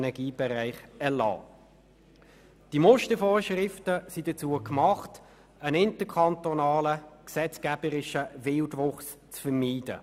Diese Mustervorschriften wurden geschaffen, um einen interkantonalen gesetzgeberischen Wildwuchs zu vermeiden.